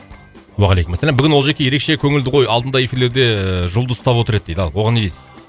уағалейкумассалам бүгін олжеке ерекше көңілді ғой алдында эфирлерде ыыы жұлдыз ұстап отыр еді дейді ал оған не дейсіз